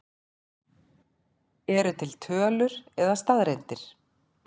Eru til tölur eða staðreyndir?